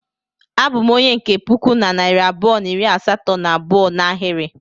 Abu m onye nke puku na narị abụọ na iri asatọ na abụọ n'ahiri